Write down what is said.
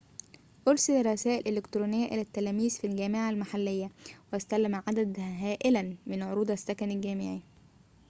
أرسل رسائل إلكترونية إلى التلاميذ في الجامعة المحلية واستلم عددًا هائلاً من عروض السكن المجاني